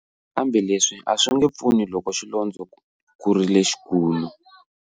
Kambe leswi a swi nge pfuni loko xilondzo ku ri lexikulu.